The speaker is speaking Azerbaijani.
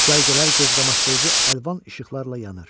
Cərgələr gözqamaşdırıcı əlvan işıqlarla yanır.